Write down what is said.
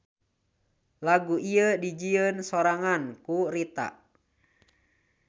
Lagu ieu dijieun sorangan ku Rita.